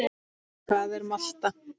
Hvað er molta?